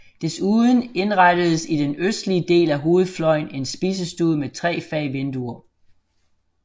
Desuden indrettedes i den østlige ende af hovedfløjen en spisestue med tre fag vinduer